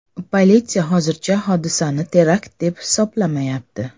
Politsiya hozircha hodisani terakt deb hisoblamayapti.